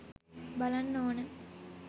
බලන්න ඕන